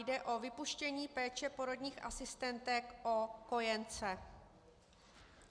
Jde o vypuštění péče porodních asistentek o kojence.